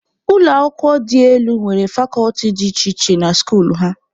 Ụlọ akwụkwọ dị elu nwere fakọlti dị iche iche dị na skuulu ha.